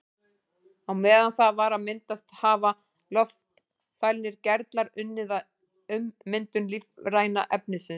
Á meðan það var að myndast hafa loftfælnir gerlar unnið að ummyndun lífræna efnisins.